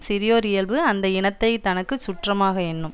சிறியோர் இயல்பு அந்த இனத்தை தனக்கு சுற்றமாக எண்ணும்